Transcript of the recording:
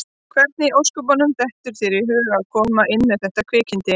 Hvernig í ósköpunum dettur þér í hug að koma með þetta kvikindi inn?